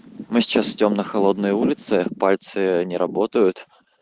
мы сейчас идём на холодной улице пальцы не работают